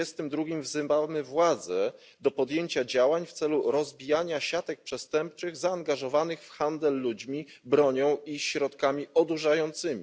32. wzywamy władze do podjęcia działań w celu rozbijania siatek przestępczych zaangażowanych w handel ludźmi, bronią i środkami odurzającymi.